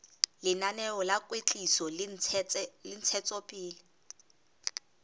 lenaneo la kwetliso le ntshetsopele